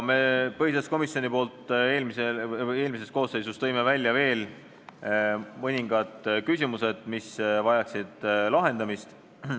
Me tõime eelmise koosseisu põhiseaduskomisjonis välja veel mõningad küsimused, mis vajaksid lahendamist.